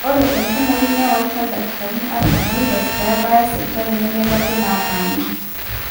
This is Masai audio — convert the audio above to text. ore enkumoi newaita ildakikani artam oile pee ebaya sipitali nemeiragi nataana